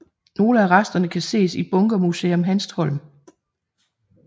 Nogle af resterne kan ses i Bunkermuseum Hanstholm